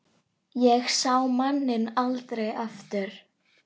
Ég sá manninn aldrei aftur.